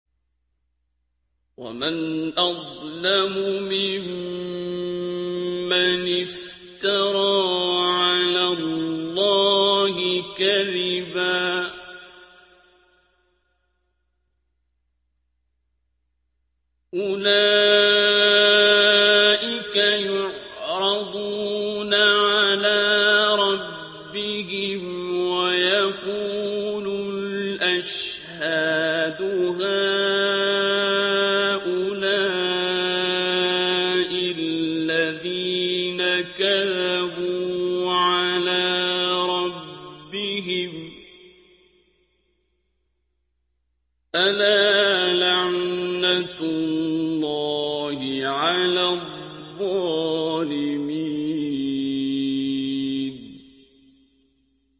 وَمَنْ أَظْلَمُ مِمَّنِ افْتَرَىٰ عَلَى اللَّهِ كَذِبًا ۚ أُولَٰئِكَ يُعْرَضُونَ عَلَىٰ رَبِّهِمْ وَيَقُولُ الْأَشْهَادُ هَٰؤُلَاءِ الَّذِينَ كَذَبُوا عَلَىٰ رَبِّهِمْ ۚ أَلَا لَعْنَةُ اللَّهِ عَلَى الظَّالِمِينَ